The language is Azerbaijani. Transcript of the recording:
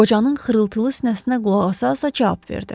Qocanın xırıltılı sinəsinə qulaq asaraq cavab verdi.